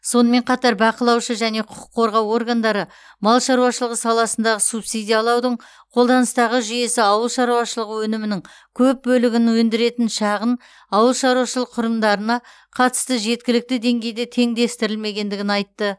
сонымен қатар бақылаушы және құқық қорғау органдары мал шаруашылығы саласындағы субсидиялаудың қолданыстағы жүйесі ауыл шаруашылығы өнімінің көп бөлігін өндіретін шағын ауыл шаруашылығы құрылымдарына қатысты жеткілікті деңгейде теңдестірілмегенін айтты